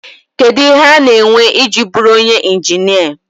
Kedu ihe ọ na-ewe iji bụrụ onye injinia?